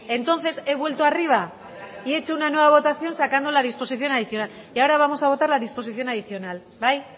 entonces he vuelto arriba y he hecho una nueva votación sacando la disposición adicional y ahora vamos a votar la disposición adicional bai